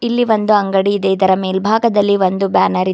ಇಲ್ಲಿ ಒಂದು ಅಂಗಡಿ ಇದೆ ಇದರ ಮೇಲ್ಭಾಗದಲ್ಲಿ ಒಂದು ಬ್ಯಾನರ್ ಇದೆ.